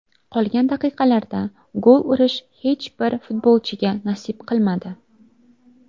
Qolgan daqiqalarda gol urish hech bir futbolchiga nasib qilmadi.